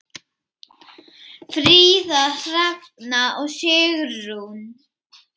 Fríða, Hrefna og Sigrún.